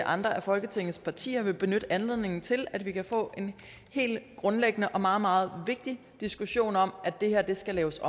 andre af folketingets partier vil benytte anledningen til at vi kan få en helt grundlæggende og meget meget vigtig diskussion om at det her skal laves